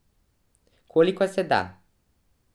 Kolikor se da.